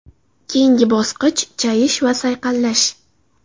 Keyingi bosqich chayish va sayqallash.